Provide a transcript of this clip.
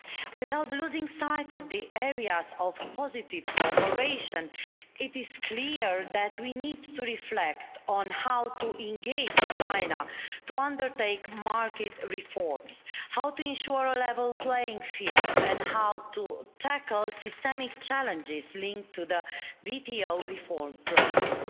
Without losing sight of the areas of positive cooperation, it is clear that we need to reflect on how to engage China to undertake market reforms, how to ensure a level playing field, and how to tackle systemic challenges linked to the WTO reform process.